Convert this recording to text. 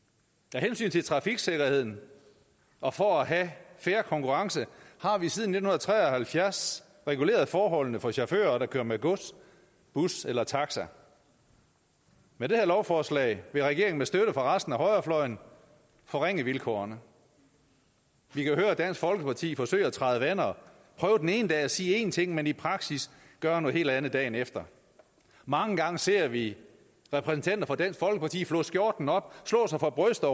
af hensyn til trafiksikkerheden og for at have fair konkurrence har vi siden nitten tre og halvfjerds reguleret forholdene for chauffører der kører med gods bus eller taxa med det her lovforslag vil regeringen med støtte fra resten af højrefløjen forringe vilkårene vi kan høre dansk folkeparti forsøge at træde vande og prøve den ene dag at sige én ting men i praksis gøre noget helt andet dagen efter mange gange ser vi repræsentanter for dansk folkeparti flå skjorten op slå sig for brystet